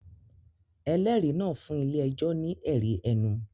Ẹlẹ́rìí náà fún ilé-ẹjọ́ ní ẹ̀rí ẹnu